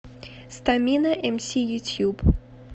стамина эмси ютюб